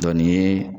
nin